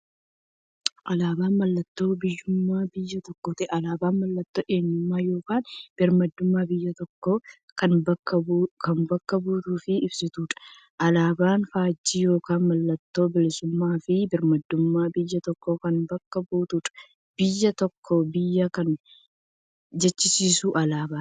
Alaaban mallattoo biyyuummaa biyya tokkooti. Alaabaan mallattoo eenyummaa yookiin birmaadummaa biyya tokkoo kan bakka buutuuf ibsituudha. Alaaban faajjii yookiin maallattoo bilisuummaafi birmaadummaa biyya tokkoo kan bakka buutuudha. Biyya tokko biyya kan jechisisuu alaabadha.